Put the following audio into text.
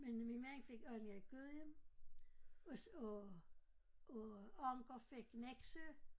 Men min mand fik Allinge-Gudhjem også og og Anker fik Nexø